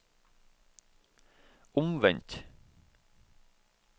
omvendt